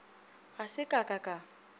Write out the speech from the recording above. ga se ka ka ka